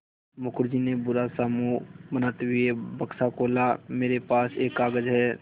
मुखर्जी ने बुरा सा मुँह बनाते हुए बक्सा खोला मेरे पास एक कागज़ है